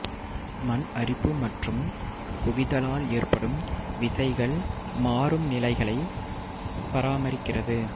மண்அரிப்பு மற்றும் குவிதலால் ஏற்படும் விசைகள் மாறும் நிலைகளை பராமரிக்கிறது